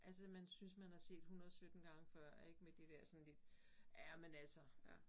Altså man synes man har set 117 gange før ik med det der sådan lidt. Ja men altså